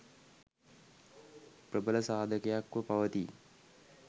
ප්‍රබල සාධකයක්ව පවතී.